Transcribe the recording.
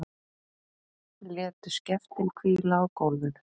Létu skeftin hvíla á gólfinu.